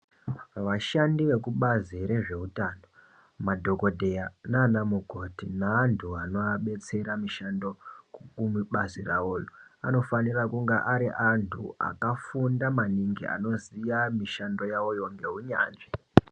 Vashandi vekubazi rezveutano, madhokodheya naana mukoti neantu anovabetsera mushando, kubazi ravo roo anofanira kunge ari antu akafunda maningi anoziva mishando yavo yoo ngounyanzvi.